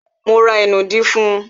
Mo ra ìnù dí fún un